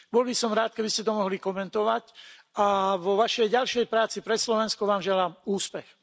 Bol by som rád, keby ste to mohli komentovať, a vo Vašej ďalšej práci pre Slovensko Vám želám úspech.